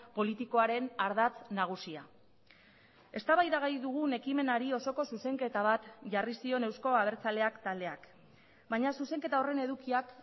politikoaren ardatz nagusia eztabaidagai dugun ekimenari osoko zuzenketa bat jarri zion euzko abertzaleak taldeak baina zuzenketa horren edukiak